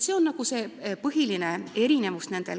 See on see nende kahe põhiline erinevus.